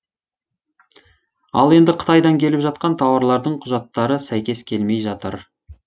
ал енді қытайдан келіп жатқан тауарлардың құжаттары сәйкес келмей жатыр